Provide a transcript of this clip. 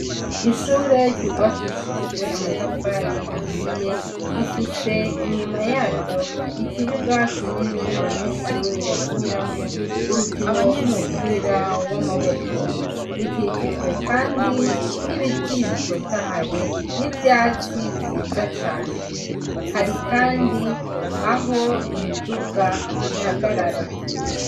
Ishuri ryubakishijwe amatafari ahiye, rifise inyuma yaryo ikibuga kinini abanyeshure bakiniramwo umukino w'umupira w'amaboko. Ikikijwe Kandi n'ibiti bitotahaye n'ivyatsi vyiza cane. Hari Kandi aho imiduga ihagarara.